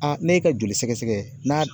n'e ka joli sɛgɛsɛgɛ n'a